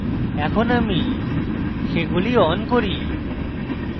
এখন আমি সেগুলি on করি